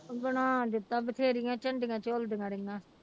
ਬਣਾ ਦਿੱਤਾ ਬਥੇਰੀਆਂ ਝੰਡੀਆਂ ਝੁੱਲਦੀਆਂ ਰਹੀਆਂ।